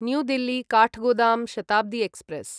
new Delhi Kathgodam Shatabdi express